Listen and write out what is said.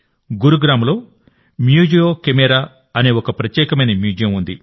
గురుగ్రామ్లో Museo Camera అనే ఒక ప్రత్యేకమైన మ్యూజియం ఉంది